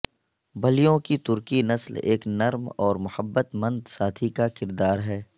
بلیوں کی ترکی نسل ایک نرم اور محبت مند ساتھی کا کردار ہے